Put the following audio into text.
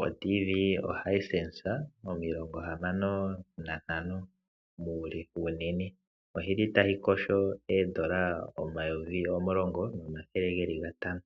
Oradio yomuzizimba yo Hisense 56 muule . oyili tayi kosho oondola omayovi omulongo nomathele geli gatano.